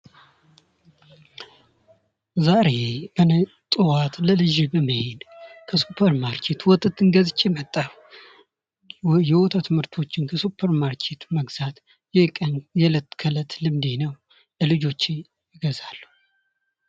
ዛሬ እኔ ጠዋት በመሄድ ከሱፐር ማርኬት ወተትን ገዝቼ መጣሁ። የወተቱ ምርቶችን ከሱፐርማርኬት መግዛት የለት ተእለት ልምዴ ነው፤ ለልጆቼም እገዛለሁ።